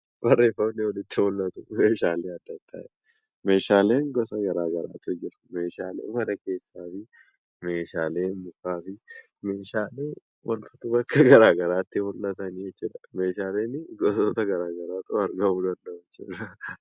Barreeffamni nutti mula'tu Kun meeshaalee garagaraa jedha meeshaalen gosa garagaraatu jiru meeshaalee mana keessaafi meeshaalee kan biroon ni jiru meeshaaleen gosoota garagaraatu argamuu danda'u jechuudha.